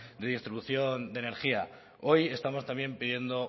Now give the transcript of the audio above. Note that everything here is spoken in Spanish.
de distribución de energía hoy estamos también pidiendo